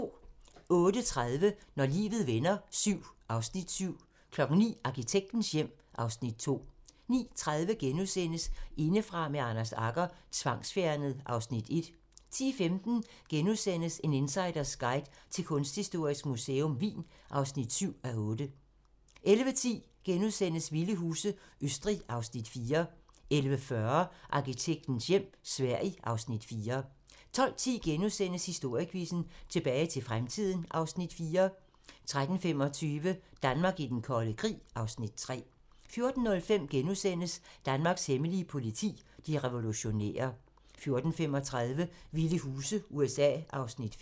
08:30: Når livet vender VII (Afs. 7) 09:00: Arkitektens hjem (Afs. 2) 09:30: Indefra med Anders Agger - Tvangsfjernet (Afs. 1)* 10:15: En insiders guide til Kunsthistorisk Museum Wien (7:8)* 11:10: Vilde huse - Østrig (Afs. 4)* 11:40: Arkitektens hjem - Sverige (Afs. 4) 12:10: Historiequizzen: Tilbage til fremtiden (Afs. 4)* 13:25: Danmark i den kolde krig (Afs. 3) 14:05: Danmarks hemmelige politi: De revolutionære * 14:35: Vilde huse - USA (Afs. 5)